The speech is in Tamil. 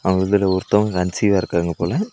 அவுங்கதுல ஒருத்தவங்க கன்சீவ்வா இருக்காங்க போல.